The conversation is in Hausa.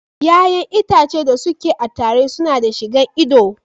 Ƴaƴan itace da su ke a tire su na da shi gan ido.